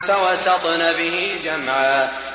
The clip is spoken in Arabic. فَوَسَطْنَ بِهِ جَمْعًا